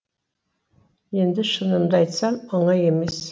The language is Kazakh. енді шынымды айтсам оңай емес